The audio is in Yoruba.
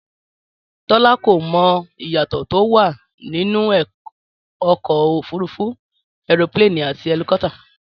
Tọ́lá kò mọ ìyàtọ̀ tó wà nínú ọkọ̀ òfúrufú ẹropíléènì àti ẹlikọ́pútà